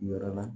Yɔrɔ na